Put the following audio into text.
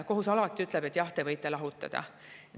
Kohus alati ütleb, et jah, te võite lahutada.